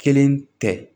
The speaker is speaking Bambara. Kelen tɛ